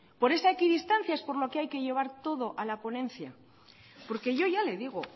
por esa equidistancia es por lo que hay que llevar todo a la ponencia porque yo ya le digo